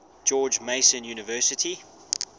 george mason university